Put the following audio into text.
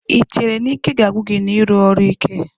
Ị chere na ike ga-agwụ gị n'ịrụ ọrụ beibg ike.